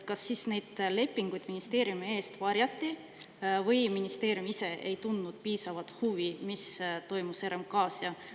Kas neid lepinguid ministeeriumi eest varjati või ministeerium ise ei tundnud piisavalt huvi, mis toimus RMK-s?